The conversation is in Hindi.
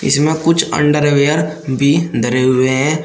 इसमें कुछ अंडरवेयर भी धरे हुए हैं।